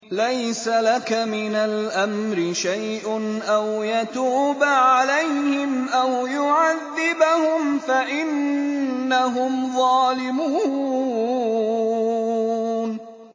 لَيْسَ لَكَ مِنَ الْأَمْرِ شَيْءٌ أَوْ يَتُوبَ عَلَيْهِمْ أَوْ يُعَذِّبَهُمْ فَإِنَّهُمْ ظَالِمُونَ